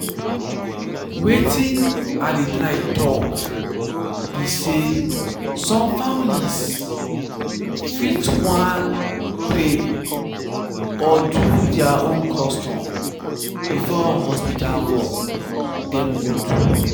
wetin i dey try talk be say some families fit want pray or do their own custom before hospital work dem go do.